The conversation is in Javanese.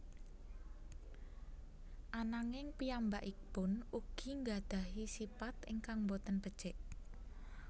Ananging piyambakipun ugi nggadhahi sipat ingkang boten becik